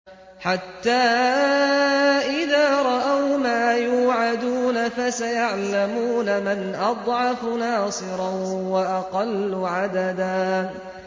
حَتَّىٰ إِذَا رَأَوْا مَا يُوعَدُونَ فَسَيَعْلَمُونَ مَنْ أَضْعَفُ نَاصِرًا وَأَقَلُّ عَدَدًا